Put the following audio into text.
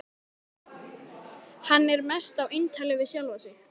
Hann er mest á eintali við sjálfan sig.